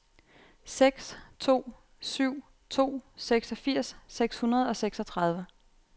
seks to syv to seksogfirs seks hundrede og seksogtredive